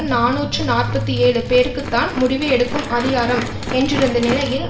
நாநூற்று நாற்பத்தி ஏழு பேருக்கு தான் முடிவு எடுக்கும் அதிகாரம் என்றிருந்த நிலையில்